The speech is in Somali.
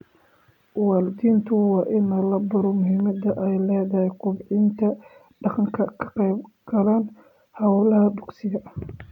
Waalidiinta waa in la baro muhimadda ay leedahay kobcinta dhaqanka ka qayb galka hawlaha dugsiga.